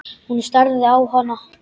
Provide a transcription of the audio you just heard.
Hún starði á hana.